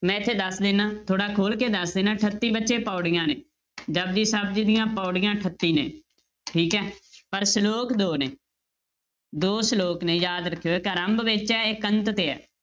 ਮੈਂ ਇੱਥੇ ਦੱਸ ਦਿਨਾ ਥੋੜ੍ਹਾ ਖੁੱਲ ਕੇ ਦੱਸ ਦਿਨਾ ਅਠੱਤੀ ਬੱਚੇ ਪਾਉੜੀਆਂ ਨੇ ਜਪੁਜੀ ਸਾਹਿਬ ਜੀ ਦੀਆਂ ਪਾਉੜੀਆਂ ਅਠੱਤੀ ਨੇ ਠੀਕ ਹੈ ਪਰ ਸਲੋਕ ਦੋ ਨੇ ਦੋ ਸਲੋਕ ਨੇ ਯਾਦ ਰੱਖਿਓ ਇੱਕ ਆਰੰਭ ਵਿੱਚ ਹੈ, ਇੱਕ ਅੰਤ ਤੇ ਹੈ।